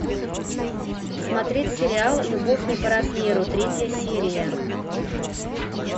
смотреть сериал любовь не по размеру третья серия